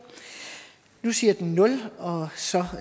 nu siger tiden nul og så